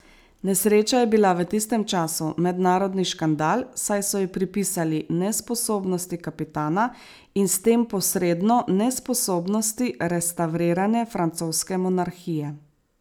Nesreča je bila v tistem času mednarodni škandal, saj so jo pripisali nesposobnosti kapitana in s tem posredno nesposobnosti restavrirane francoske monarhije.